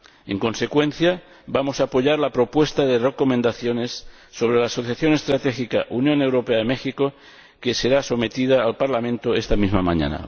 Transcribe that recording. En consecuencia, vamos a apoyar la propuesta de recomendación sobre la Asociación Estratégica Unión Europea México que será sometida al Parlamento esta misma mañana.